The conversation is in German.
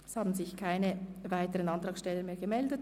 Es haben sich keine weiteren Antragsteller gemeldet.